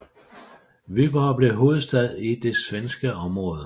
Vyborg blev hovedstad i det svenske område